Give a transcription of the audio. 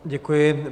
Děkuji.